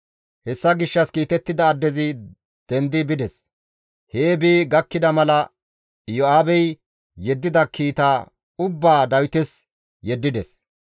Hessa gishshas kiitettida addezi dendi bides; hee bi gakkida mala Iyo7aabey yeddida kiita ubbaa Dawites yeddides.